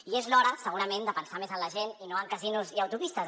i és l’hora segurament de pensar més en la gent i no en casinos i autopistes